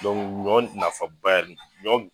ɲɔ nafaba yɛrɛ de ɲɔ